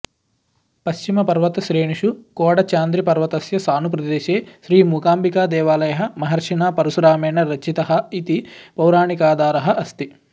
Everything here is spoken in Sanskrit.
पश्चिमपर्वतश्रेणीषु कोडचाद्रिपर्वतस्य सानुप्रदेशे श्रीमूकाम्बिकादेवालयः महर्षिणा परशुरामेण रचितः इति पौराणिकाधारः अस्ति